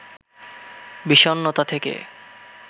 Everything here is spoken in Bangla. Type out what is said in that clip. বিষণ্ণতা থেকে